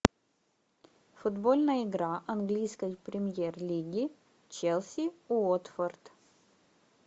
футбольная игра английской премьер лиги челси уотфорд